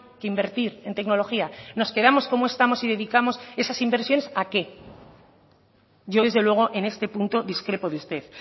que invertir en tecnología nos quedamos como estamos y dedicamos esas inversiones a qué yo desde luego en este punto discrepo de usted